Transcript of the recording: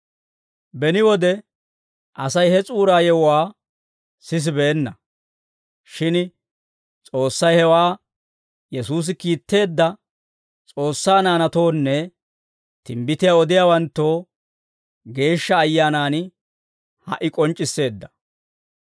Beni wode Asay he S'uura yewuwaa sisibeenna; shin S'oossay hewaa Yesuusi kiitteedda S'oossaa naanatoonne timbbitiyaa odiyaawanttoo, Geeshsha Ayyaanan ha"i k'onc'c'isseedda.